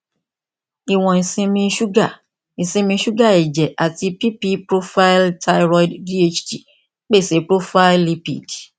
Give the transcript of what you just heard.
iwọn isinmi suga isinmi suga ẹjẹ ati pp profaili thyroid dht pese profaili lipid